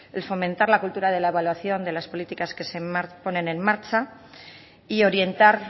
el fomentar la cultura de la evaluación de las políticas que se ponen en marcha y orientar